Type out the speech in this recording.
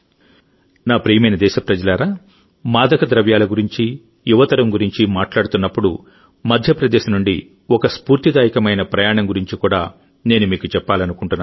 నా ప్రియమైన దేశప్రజలారా మాదకద్రవ్యాల గురించి యువ తరం గురించి మాట్లాడుతున్నప్పుడుమధ్యప్రదేశ్ నుండి ఒక స్ఫూర్తిదాయకమైన ప్రయాణం గురించి కూడా నేను మీకు చెప్పాలనుకుంటున్నాను